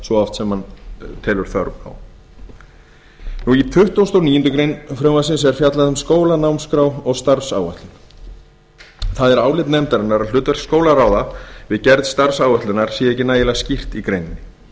svo oft sem hann telur þörf á í tuttugasta og níundu grein frumvarpsins er fjallað um skólanámskrá og starfsáætlun er það álit nefndarinnar að hlutverk skólaráða við gerð starfsáætlunar sé ekki nægjanlega skýrt í greininni í